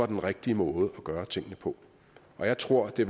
den rigtige måde at gøre tingene på og jeg tror at det